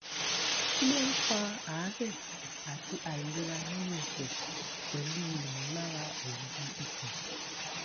kí ló ń fa aare àti àìlera nínú ẹsẹ pelu imolara oyi ikun